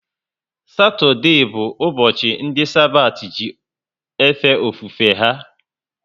Satode bu ubochi ndi Sabati ji efe ofufe ha